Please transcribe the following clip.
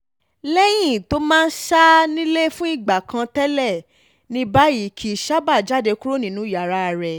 lẹ́yìn tó máa ń sá nílé fún ìgbà kan tẹ́lẹ̀ ní báyìí kìí sábà jáde kúrò nínú yàrá rẹ̀